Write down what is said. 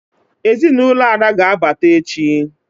ezinulo Ada ga-abata echi